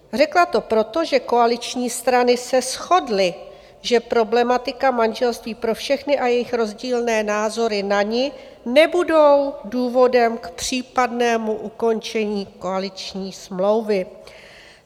Řekla to proto, že koaliční strany se shodly, že problematika manželství pro všechny a jejich rozdílné názory na ni nebudou důvodem k případnému ukončení koaliční smlouvy.